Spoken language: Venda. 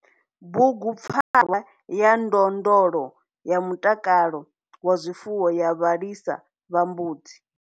Bugu PFARWA YA NDONDLO YA MUTAKALO WA ZWIFUWO YA VHALISA VHA MBUDZI.